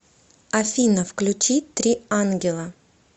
афина включи три ангела